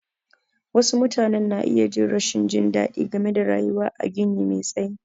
Wasu mutane na iya jin rashin jin daɗi game da rayuwa a gini me tsayi.